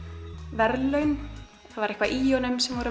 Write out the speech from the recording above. verðlaun það var eitthvað í honum sem var